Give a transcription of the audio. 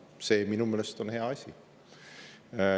See on minu meelest hea asi.